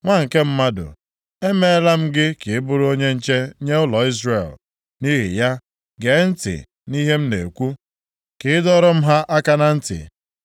“Nwa nke mmadụ, emeela m gị ka ị bụrụ onye nche nye ụlọ Izrel. Nʼihi ya, gee ntị nʼihe m na-ekwu, ka ị dọọrọ m ha aka na ntị.